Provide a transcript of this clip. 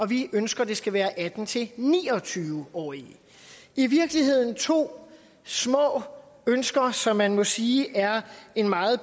vi ønsker at det skal være atten til ni og tyve årige i virkeligheden er det to små ønsker som man må sige er en meget